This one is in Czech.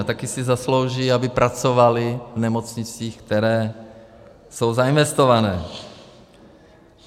A taky si zaslouží, aby pracovali v nemocnicích, které jsou zainvestované.